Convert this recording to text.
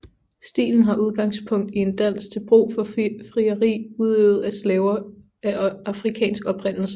Stilen har udgangspunkt i en dans til brug for frieri udøvet af slaver af afrikansk oprindelse